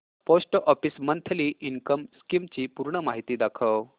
post office monthly income scheme ची पूर्ण माहिती दाखव